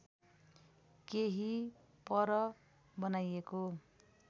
केही पर बनाइएको